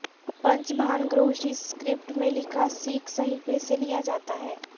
پنج بھان گروھشی سکرپٹ میں لکھا سکھ صحیفے سے لیا جاتا ہے